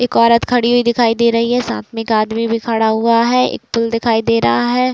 एक औरत खड़ी हुई दिखाई दे रही है। साथ में एक आदमी भी खड़ा हुआ है। एक पुल दिखाई दे रहा है।